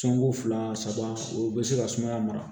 Sɔnko fila saba o bɛ se ka sumaya mara